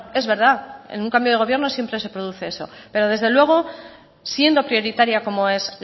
es verdad en un cambio de gobierno siempre se produce eso pero desde luego siendo prioritaria como es